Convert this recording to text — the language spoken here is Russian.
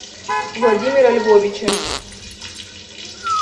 владимира львовича